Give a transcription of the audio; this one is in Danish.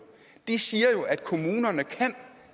siger jo at kommunerne kan